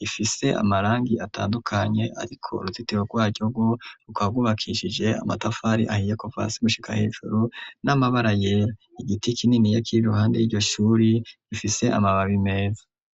rifise amarangi atandukanye, ariko uruzitiro rwaryo rwo rukaba rwubakishije amatafari ahiye ,kuva hasi gushika hejuru ,n'amabara yera ,igiti kininiya kiri iruhande y'iryo shuri gifise amababi meza.